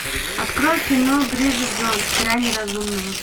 открой кино бриджит джонс грани разумного